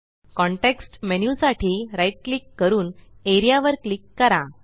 context menu साठी right click करून area वर क्लिक करा